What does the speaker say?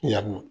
Yan nɔ